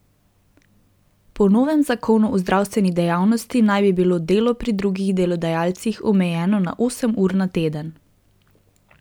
Po novem zakonu o zdravstveni dejavnosti naj bi bilo delo pri drugih delodajalcih omejeno na osem ur na teden.